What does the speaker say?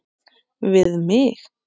Við mig.